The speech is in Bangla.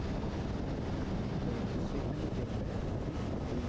তো সেখানে দেখবে তুমি ওই